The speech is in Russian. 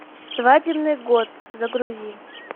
свадебный год загрузи